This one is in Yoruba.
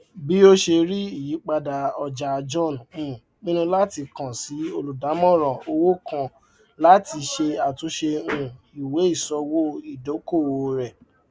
bí ó ṣe rí ìyípadà ọjà john um pinnu láti kan sí olùdàmòràn owó kan láti ṣe àtúnṣe um iweiṣòwò ìdókòwò rẹ